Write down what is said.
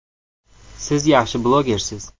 Siz yaxshi blogersiz.